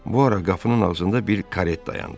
Bu ara qapının ağzında bir karet dayandı.